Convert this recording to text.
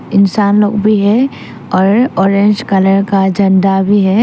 इंसान लोग भी है और ऑरेंज कलर का झंडा भी है।